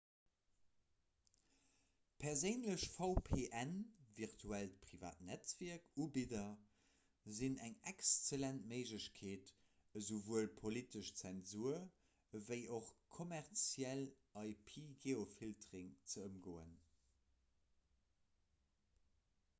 perséinlech vpnvirtuellt privatnetzwierk-ubidder sinn eng excellent méiglechkeet esouwuel politesch zensur ewéi och kommerzielle ip-geofilterung ze ëmgoen